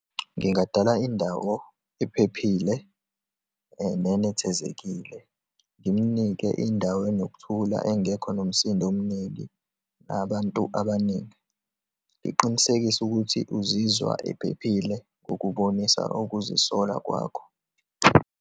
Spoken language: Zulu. Ngingadala indawo ephephile nenethezekile, ngimnike indawo enokuthula engekho nomsindo omningi, nabantu abaningi, ngiqinisekise ukuthi uzizwa ephephile ngokubonisa ukuzisola kwakho.